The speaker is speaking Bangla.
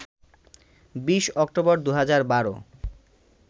২০ অক্টোবর, ২০১২